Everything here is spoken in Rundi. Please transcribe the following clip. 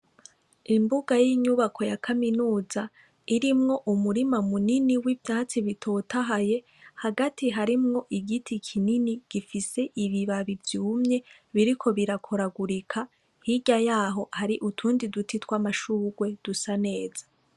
Imbuga yinyubako ya kaminuza irimwo umurima munini wivyatsi bitotahaye ariko harimwo igiti kinini gifise ibibabi vyiza biriko barakoragurika hirya yaho twamashurwe